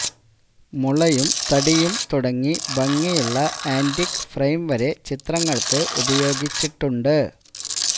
മുളയും തടിയും തുടങ്ങി ഭംഗിയുളള ആന്റിക് ഫ്രെയിം വരെ ചിത്രങ്ങൾക്ക് ഉപയോഗിച്ചിട്ടുണ്ട്